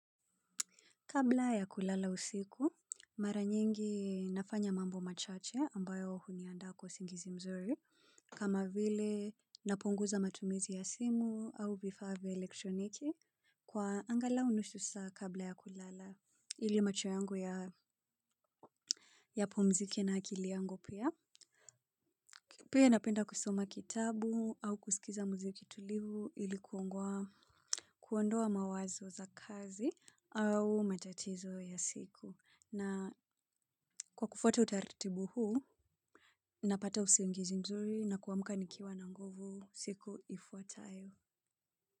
Kabla ya kulala usiku mara nyingi nafanya mambo machache ambayo huniandaa kwa singizi mzuri. Kama vile napunguza matumizi ya simu au vifaa vya elektroniki kwa angalau nusu saa kabla ya kulala ili macho yangu ya yapumzike na akili yangu pia, pia napenda kusoma kitabu au kusikiza mziki tulivu ili kuongowa. Kuondoa mawazo za kazi au matatizo ya siku na kwa kufuata utartibu huu, napata usiungizi mzuri na kuamka nikiwa na nguvu siku ifuatayo.